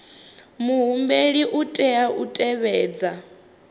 muhumbeli u tea u tevhedza